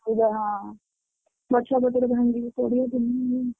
ଅସୁବିଧା ହଁ।